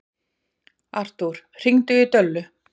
Artúr, hringdu í Döllu.